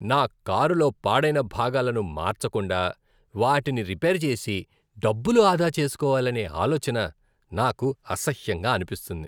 నా కారులో పాడైన భాగాలను మార్చకుండా, వాటిని రిపేర్ చేసి డబ్బులు ఆదా చేస్కోవాలనే ఆలోచన నాకు అసహ్యంగా అనిపిస్తుంది.